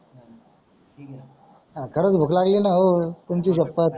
खरच भूक लागली ना हो तुमची सपत